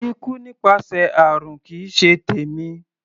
Ikú nípasẹ̀ àrùn kì í ṣe tèmi.